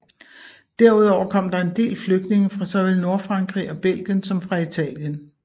Derudover kom der en del flygtninge fra såvel Nordfrankrig og Belgien som fra Italien